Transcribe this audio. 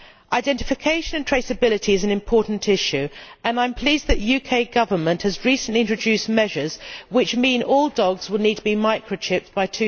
Identification and traceability is an important issue, and I am pleased that the UK Government has recently introduced measures which mean that all dogs will need to be microchipped by